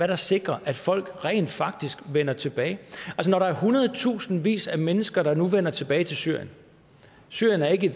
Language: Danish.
der sikrer at folk rent faktisk vender tilbage når der er hundredtusindvis af mennesker der nu vender tilbage til syrien syrien er ikke